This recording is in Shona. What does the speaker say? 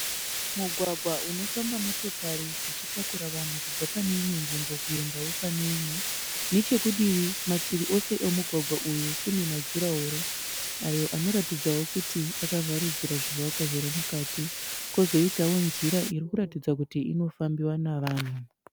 Mugwagwa unofamba motokari dzichitakura vanhu kubva pane imwe nzvimbo kuendawo pane imwe. Nechekudivi mativi ose emugwagwa uyu kune majuraworo, ayo anoratidza kuti akavharidzira zvivakwa zviri mukati. Kozoitawo nzira irikuratidza kuti inofambiwa nevanhu.